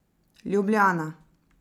Ljubljana.